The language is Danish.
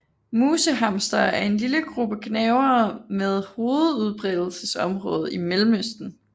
Musehamstere er en lille gruppe gnavere med hovedudbredelsesområde i Mellemøsten